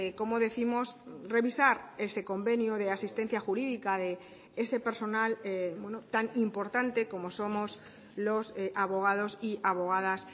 como décimos revisar ese convenio de asistencia jurídica de ese personal tan importante como somos los abogados y abogadas